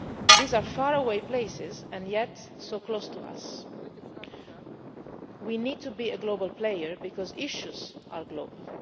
These are faraway places and yet so close to us. We need to be a global player because issues are global.